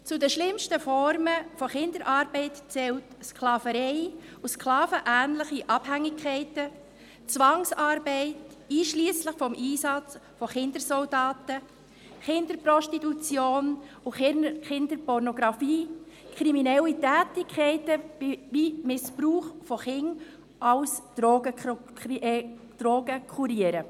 Zu den schlimmsten Formen von Kinderarbeit zählen Sklaverei und Sklaven ähnliche Abhängigkeiten, Zwangsarbeit, einschliesslich dem Einsatz von Kindersoldaten, Kinderprostitution und Kinderpornografie, kriminelle Tätigkeiten wie etwa der Missbrauch von Kindern als Drogenkuriere.